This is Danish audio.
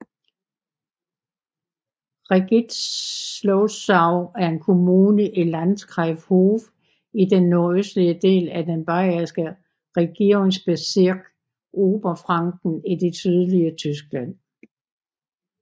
Regnitzlosau er en kommune i Landkreis Hof i den nordøstlige del af den bayerske regierungsbezirk Oberfranken i det sydlige Tyskland